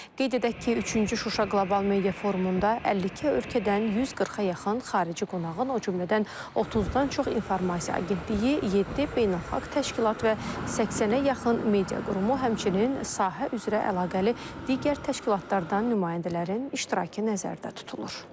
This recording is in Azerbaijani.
Qeyd edək ki, üçüncü Şuşa qlobal media forumunda 52 ölkədən 140-a yaxın xarici qonağın, o cümlədən 30-dan çox informasiya agentliyi, yeddi beynəlxalq təşkilat və 80-ə yaxın media qurumu, həmçinin sahə üzrə əlaqəli digər təşkilatlardan nümayəndələrin iştirakı nəzərdə tutulur.